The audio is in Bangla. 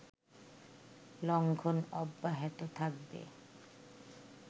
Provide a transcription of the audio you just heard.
লঙ্ঘন অব্যাহত থাকবে